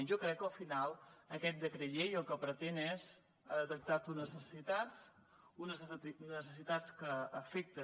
jo crec que al final aquest decret llei el que pretén és ha detectat unes necessitats unes necessitats que afecten